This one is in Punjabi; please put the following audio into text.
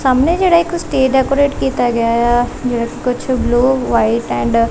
ਸਾਮਣੇ ਜਿਹੜਾ ਇੱਕ ਸਟੇਜ ਡੈਕੋਰੇਟ ਕੀਤਾ ਗਿਆ ਆ ਜਿਹੜਾ ਕੁਝ ਬਲੂ ਵਾਈਟ ਐਂਡ --